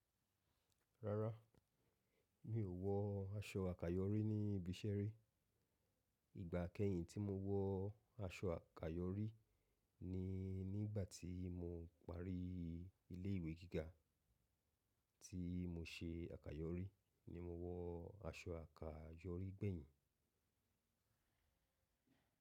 Rara mi o wo aṣọ akayori ni ibi isẹ ri. Ìgbà ikẹ́yìn tí mo wọ aṣọ àkayọrí ni nígbà tí mo parí ilé ìwé gíga, tí mo se àkayọrí ni mo wọ aṣọ àkayọrí gbẹ̀yìn.